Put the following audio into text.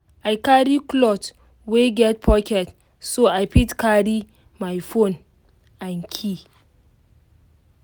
i carry cloth wey get pocket so i fit carry my phone and key